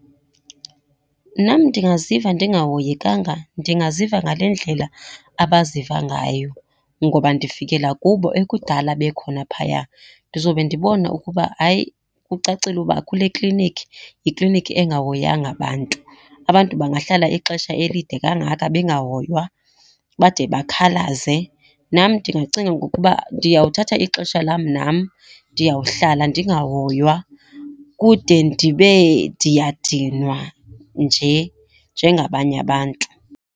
Nam ndingaziva ndingahoyekanga, ndingaziva ngale ndlela abaziva ngayo ngoba ndifikela kubo ekudala bekhona phaya. Ndizobe ndibona ukuba, hayi, kucacile uba kule klinikhi, yiklinikhi engahoyanga bantu. Abantu bangahlala ixesha elide kangaka bengahoywa bade bakhalaze? Nam ndingacinga ngokuba ndiyawuthatha ixesha lam nam. Ndiyawuhlala ndingahoywa kude ndibe ndiyadinwa nje nje ngabanye abantu.